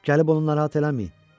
Gəlib onu narahat eləməyin.